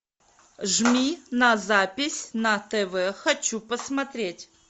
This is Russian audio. жми на запись на тв хочу посмотреть